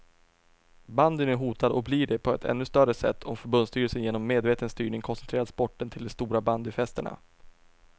Bandyn är hotad och blir det på ett ännu större sätt om förbundsstyrelsen genom medveten styrning koncentrerar sporten till de stora bandyfästena.